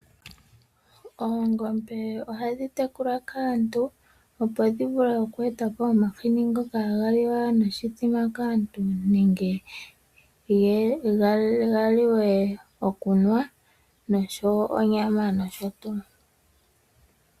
Oongombe ohadhi tekulwa kaantu opo dhivule okweetapo omahini ngoka haga liwa noshithima kaantu nande ganuwe nosho woo onyama nosho tuu.